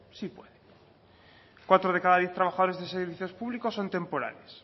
sí puede cuatro de cada diez trabajadores de servicios públicos son temporales